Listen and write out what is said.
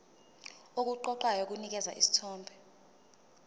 okuqoqayo kunikeza isithombe